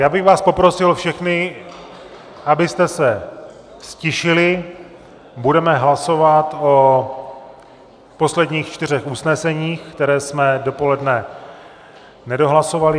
Já bych vás poprosil všechny, abyste se ztišili, budeme hlasovat o posledních čtyřech usneseních, která jsme dopoledne nedohlasovali.